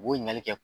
U b'o ɲininkali kɛ